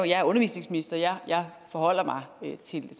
jeg er undervisningsminister jeg forholder mig til